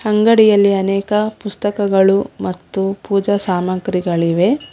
ಅಂಗಡಿಯಲ್ಲಿ ಅನೇಕ ಪುಸ್ತಕಗಳು ಮತ್ತು ಪೂಜಾ ಸಾಮಗ್ರಿಗಳಿವೆ.